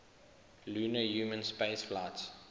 lunar human spaceflights